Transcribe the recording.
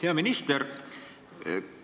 Hea minister!